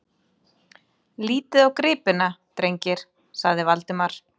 Lítið á gripina, drengir! sagði Valdimar.